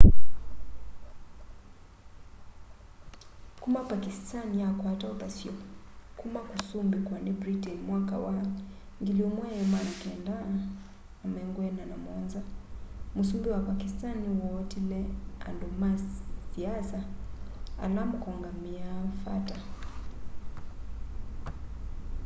kuma pakistan yakwata uthasyo kuma kusumbikwa ni britain mwaka wa 1947 musumbi wa pakistan ni wootile andu ma siasa ala mukongamiia fata